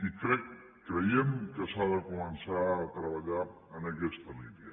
i crec creiem que s’ha de començar a treballar en aquesta línia